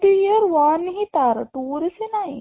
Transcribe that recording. the year one ହିଁ ତାର two ରେ ସେ ନାଇଁ